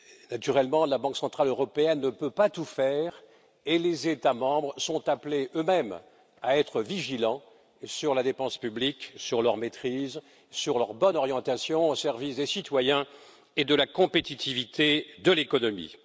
Naturellement, la Banque centrale européenne ne peut pas tout faire, et les États membres sont appelés eux mêmes à être vigilants sur les dépenses publiques, leur maîtrise et leur bonne orientation au service des citoyens et de la compétitivité de l'économie.